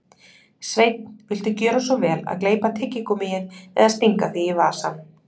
Sveinn, viltu gjöra svo vel að gleypa tyggigúmmíið eða stinga því í vasann